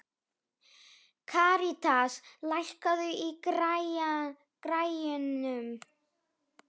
Karítas, lækkaðu í græjunum.